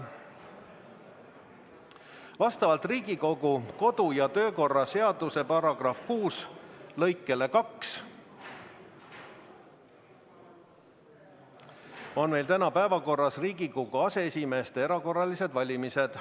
Vastavalt Riigikogu kodu- ja töökorra seaduse § 6 lõikele 2 on meil täna päevakorras Riigikogu aseesimeeste erakorralised valimised.